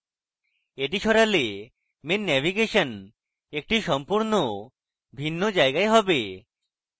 এটি সরালে main navigation একটি সম্পূর্ণ ভিন্ন জায়গায় হবে